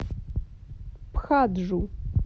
пхаджу